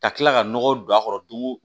Ka kila ka nɔgɔ don a kɔrɔ dugu